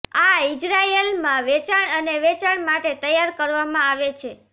આ ઇઝરાયેલમાં વેચાણ અને વેચાણ માટે તૈયાર કરવામાં આવે છે